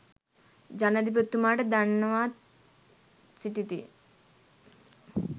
ජනාධිපතිතුමාට දන්වා සිටිති.